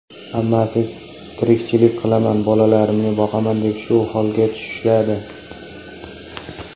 Hammasi tirikchilik qilaman, bolalarimni boqaman deb shu holga tushishadi.